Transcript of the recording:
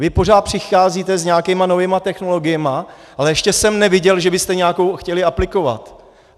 Vy pořád přicházíte s nějakými novými technologiemi, ale ještě jsem neviděl, že byste nějakou chtěli aplikovat.